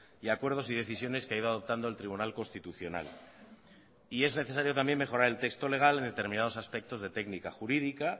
y acuerdos y decisiones que ha ido adoptando el tribunal constitucional y es necesario también mejorar el texto legal en determinados aspectos de técnica jurídica